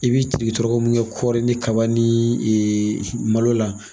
I bi tiriki tɔrɔkɔ min kɛ kɔɔrɔri ni kaba ni malo la.